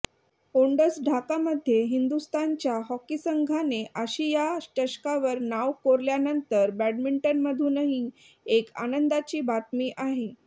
ओंडस ढाकामध्ये हिंदुस्थानच्या हॉकी संघाने आशिया चषकावर नाव कोरल्यानंतर बॅडमिंटनमधूनही एक आनंदाची बातमी आहे